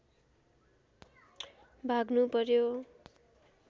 भाग्नु पर्‍यो